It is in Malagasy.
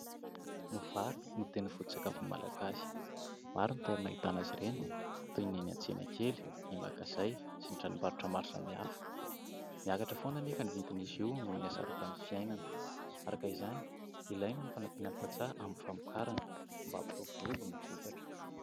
Ny vary no tena foto-tsakafon'ny Malagasy. Maro ny toerana ahitana azy ireny toy ny any an-tsena kely, ny magazay sy ny tranom-barotra maro samihafa. Miakatra foana anefa ny vidin'izy io noho ny hasarotan'ny fiainana ; araka izany, ilaina ny fanampina ny tantsaha amin'ny famokarana mba ampiroborobo ny vokatra.